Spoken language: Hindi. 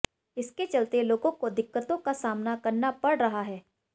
इसके चलते लोगों को दिक्कतों का सामना करना पड़ रहा है